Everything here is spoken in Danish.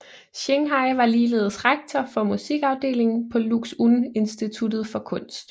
Xinghai var ligeledes rektor for musikafdelingen på Lux Un Instituttet for Kunst